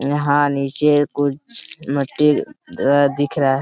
यहाँ नीचे कुछ मिट्टी दिख रहा है।